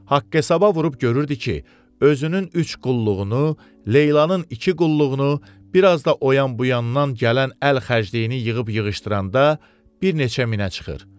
Haqq-hesaba vurub görürdü ki, özünün üç qulluğunu, Leylanın iki qulluğunu, bir az da o yan-bu yandan gələn əl xərcliyini yığıb-yığışdıranda bir neçə minə çıxır.